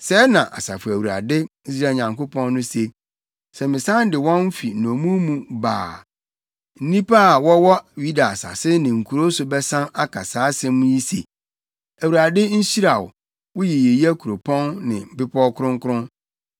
Sɛɛ na Asafo Awurade, Israel Nyankopɔn no se: “Sɛ mesan de wɔn fi nnommum mu ba a, nnipa a wɔwɔ Yuda asase ne nkurow so bɛsan aka saa nsɛm yi se, ‘ Awurade nhyira wo, wo yiyeyɛ kuropɔn ne bepɔw kronkron.’